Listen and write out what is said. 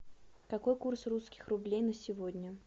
какой курс русских рублей на сегодня